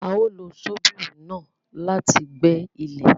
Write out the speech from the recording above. A o lo ṣobírì náà láti gbẹ̀ ilẹ